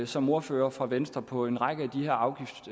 som ordfører for venstre på en række